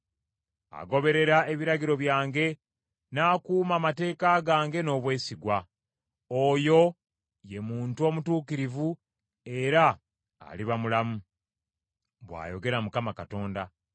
Agoberera ebiragiro byange, n’akuuma amateeka gange n’obwesigwa, oyo ye muntu omutuukirivu era aliba mulamu,” bw’ayogera Mukama Katonda.